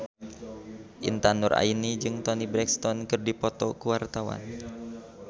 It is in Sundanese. Intan Nuraini jeung Toni Brexton keur dipoto ku wartawan